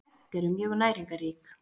Egg eru mjög næringarrík.